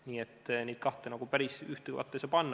Nii et neid kahte päris ühte patta ei saa panna.